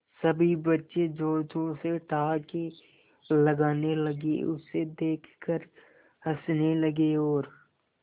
सभी बच्चे जोर जोर से ठहाके लगाने लगे उसे देख कर हंसने लगे और